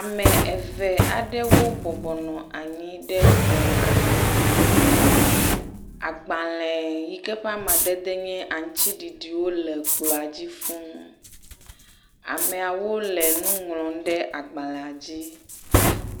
Ame eve aɖewo bubɔnɔ anyi ɖe kplɔ aɖe ŋu, agbalẽ yike ƒe amadede nye aŋutiɖiɖiwo le ekplɔ̃ a dzi fũu, ameawo le nuŋlɔm ɖe agbalẽa dzi.